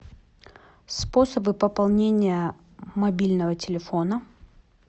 способы пополнения мобильного телефона